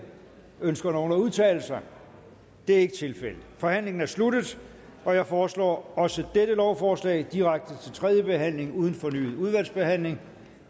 ønsker nogen at udtale sig det er ikke tilfældet forhandlingen er sluttet jeg foreslår at også dette lovforslag går direkte til tredje behandling uden fornyet udvalgsbehandling